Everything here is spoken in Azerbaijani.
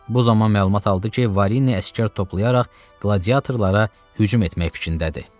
Bu zaman məlumat aldı ki, Varini əsgər toplayaraq qladiyatorlara hücum etmək fikrindədir.